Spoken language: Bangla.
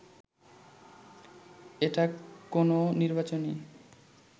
এটা কোনো নির্বাচনী